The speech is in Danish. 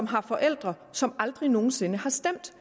har forældre som aldrig nogen sinde har stemt